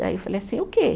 Aí eu falei assim, o quê?